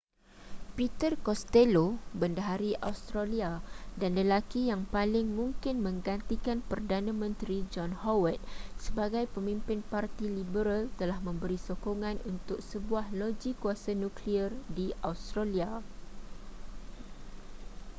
peter costello bendahari australia dan lelaki yang paling mungkin menggantikan perdana menteri john howard sebagai pemimpin parti liberal telah memberi sokongan untuk sebuah loji kuasa nuklear di australia